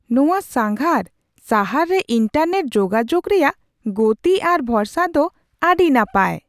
ᱱᱚᱶᱟ ᱥᱟᱸᱜᱷᱟᱨ ᱥᱟᱦᱟᱨ ᱨᱮ ᱤᱱᱴᱟᱨᱱᱮᱴ ᱡᱳᱜᱟᱡᱳᱜ ᱨᱮᱭᱟᱜ ᱜᱚᱛᱤ ᱟᱨ ᱵᱷᱚᱨᱥᱟᱜ ᱫᱚ ᱟᱹᱰᱤ ᱱᱟᱯᱟᱭ ᱾